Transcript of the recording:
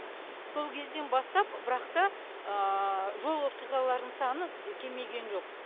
сол кезден бастап бірақ та жол оқиғаларының саны кемиген жоқ